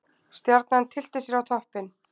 Stjarnan tyllti sér á toppinn